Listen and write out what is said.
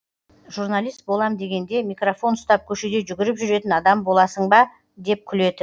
журналист болам дегенде микрофон ұстап көшеде жүгіріп жүретін адам боласын ба деп күлетін